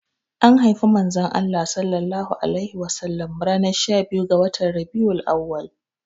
Anhaifi manzon Allah sallallahu alaihi wasallam ranar shabiyu ga watan Rabi'ul auwal.